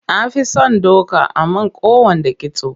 Na fi son doka a man kowanne kitso.